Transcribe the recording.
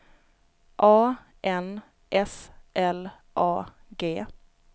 A N S L A G